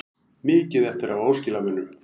Mikið eftir af óskilamunum